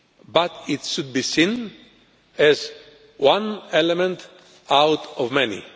But it should be seen as one element out of many.